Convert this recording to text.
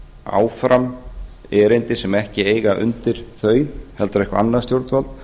áfram erindi sem ekki eiga undir þau heldur eitthvert annað stjórnvald